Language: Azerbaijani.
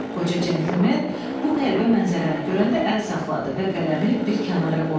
Qoca centlimen bu qəribə mənzərəni görəndə əl saxladı və qələmi bir kənara qoydu.